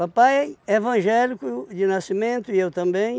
Papai é evangélico de nascimento, e eu também.